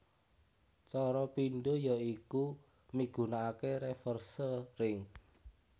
Cara pindho ya iku migunakaké reverse ring